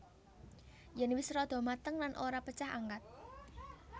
Yen wis rada mateng lan ora pecah angkat